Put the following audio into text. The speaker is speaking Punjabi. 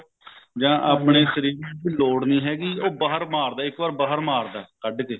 ਆਪਨੇ ਸਰੀਰ ਨੂੰ ਲੋੜ ਨਹੀਂ ਹੈਗੀ ਉਹ ਬਾਹਰ ਮਾਰਦਾ ਇੱਕ ਵਾਰ ਬਾਹਰ ਮਾਰਦਾ ਕੱਢ ਕੇ